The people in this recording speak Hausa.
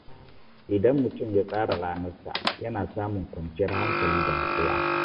Idan mutum ya tsara ranar sa, yana samun kwanciyar hankali da natsuwa.